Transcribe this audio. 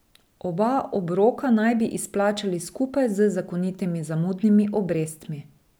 Oba obroka naj bi izplačali skupaj z zakonitimi zamudnimi obrestmi.